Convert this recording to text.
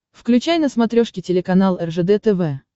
включай на смотрешке телеканал ржд тв